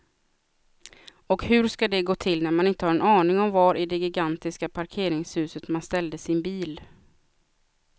Och hur ska det gå till när man inte har en aning om var i det gigantiska parkeringshuset man ställde sin bil.